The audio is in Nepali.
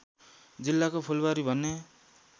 जिल्लाको फूलवारी भन्ने